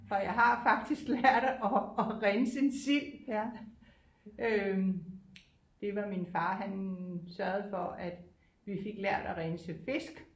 Og jeg har faktisk lært at at rense en sild øh det var min far han sørgede for at vi fik lært at rense fisk